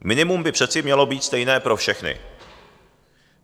Minimum by přece mělo být stejné pro všechny.